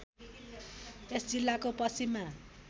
यस जिल्लाको पश्चिममा